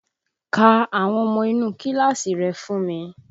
Ka àwọn ọmọ inú kíláàsì rẹ fún mi!